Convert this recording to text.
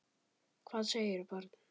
Hvað segirðu barn?